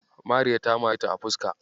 Mariya ta mareta a fuska.